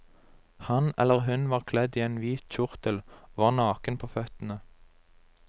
Han eller hun var kledd i en hvit kjortel og var naken på føttene.